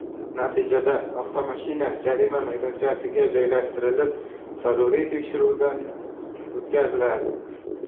Natijada avtomashina jarima maydonchasiga joylashtirilib, zaruriy tekshiruvdan o‘tkaziladi.